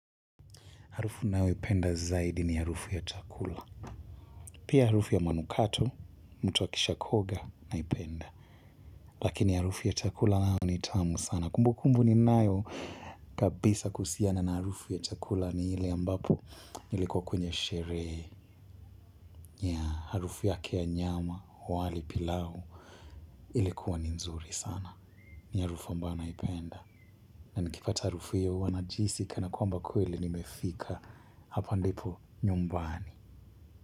Harufu ninayo ipenda zaidi ni harufu ya chakula. Pia harufu ya manukato, mtu akisha kuoga, naipenda. Lakini harufu ya chakula nayo ni tamu sana. Kumbukumbu ninanayo kabisa kuhusiana na harufu ya chakula ni ile ambapo nilikuwa kwenye sherehe. Ya harufu yake ya nyama, wali pilau, ilikuwa ni nzuri sana. Ni harufu ambao naipenda. Na nikipata harufu hiyo huwanajihisi kana kwamba kweli nimefika hapa ndipo nyumbani.